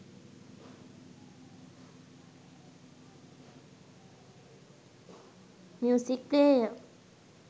music player